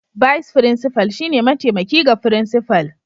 Bise Frincifal shine mataimaki ga Frincifal